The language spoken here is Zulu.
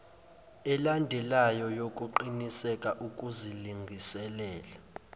elandelwayo yokuqiniseka ukuzilungiselela